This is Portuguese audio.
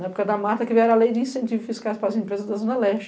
Na época da Marta, que vieram a lei de incentivos fiscais para as empresas da Zona Leste.